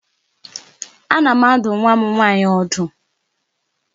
Ana m adụ nwa m nwaanyị ọdụ.